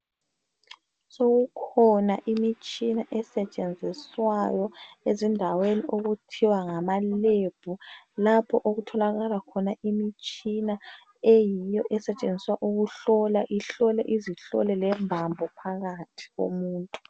Sokukhona imitshina esentshenziswayo ezindaweni okuthiwa ngama lebhu lapho okutholakala khona imitshina eyiyo esentshenziswa ukuhlola ihlola izihlole lembambo phakathi komuntu.